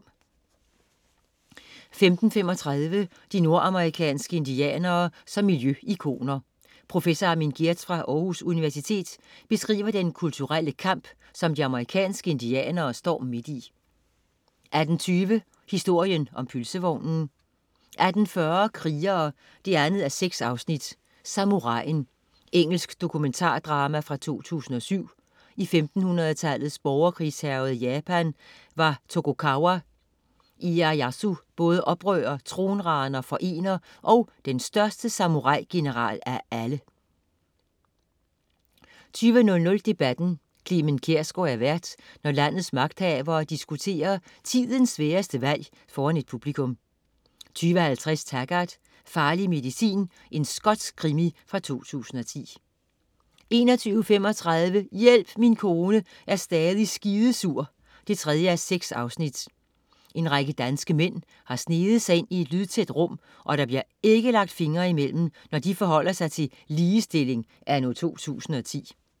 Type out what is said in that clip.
15.35 De nordamerikanske indianere som miljø-ikoner. Professor Armin Geertz fra Aarhus Universitet beskriver den kulturelle kamp, som de amerikanske indianere står midt i 18.20 Historien om pølsevognen 18.40 Krigere 2:6. Samuraien. Engelsk dramadokumentar fra 2007. I 1500-tallets borgerkrigshærgede Japan var Tokugawa leyasu både oprører, tronraner, forener og den største samurai-general af alle 20.00 Debatten. Clement Kjersgaard er vært, når landets magthavere diskuterer tidens sværeste valg foran et publikum 20.50 Taggart: Farlig medicin. Skotsk krimi fra 2010 21.35 Hjælp min kone er stadig skidesur 3:6. En række danske mænd har sneget sig ind i et lydtæt rum, og der bliver ikke lagt fingre i mellem, når de forholder sig til ligestilling anno 2010